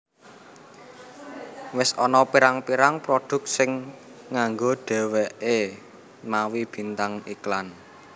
Wis ana pirang pirang produk sing nganggo dheweke mawi bintang iklan